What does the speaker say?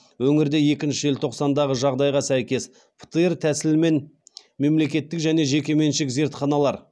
өңірде екінші желтоқсандағы жағдайға сәйкес птр тәсілімен мемлекеттік және жекеменшік зертханалар